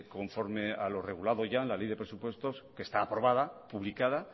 conforme a lo regulado ya en la ley de presupuestos que está aprobada publicada